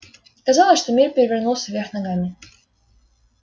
казалось что мир перевернулся вверх ногами